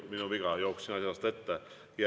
Minu viga, jooksin asjast ette.